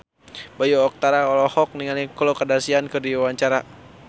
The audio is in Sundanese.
Bayu Octara olohok ningali Khloe Kardashian keur diwawancara